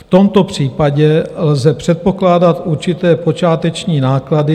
V tomto případě lze předpokládat určité počáteční náklady...